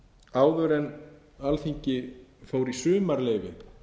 áður en alþingi fór í sumarleyfi